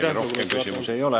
Teile rohkem küsimusi ei ole.